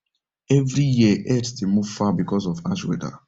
every year herds dey move far because of harsh weather